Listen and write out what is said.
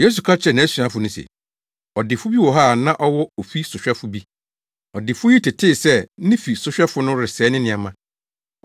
Yesu ka kyerɛɛ nʼasuafo no se, “Ɔdefo bi wɔ hɔ a na ɔwɔ ofi sohwɛfo bi. Ɔdefo yi tetee sɛ ne fi sohwɛfo no resɛe ne nneɛma.